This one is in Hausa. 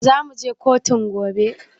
Zamuje kotun gobe?